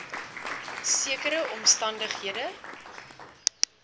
sekere omstan dighede